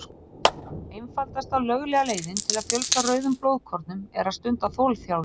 Einfaldasta löglega leiðin til að fjölga rauðum blóðkornum er að stunda þolþjálfun.